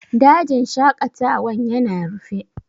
Dajin shaƙatawan ya na rufe?